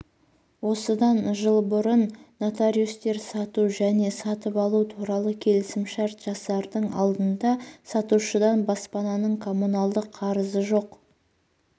осыдан жыл бұрын нотариустер сату және сатып-алу туралы келісімшарт жасардың алдында сатушыдан баспананың коммуналдық қарызы жоқ